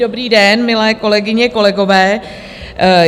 Dobrý den, milé kolegyně, kolegové.